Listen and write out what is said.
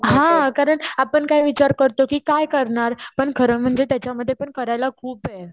हा कारण आपण काय विचार करतो कि काय करणार पण खरम्हणजे त्याच्यामध्येपण करायला खूपे.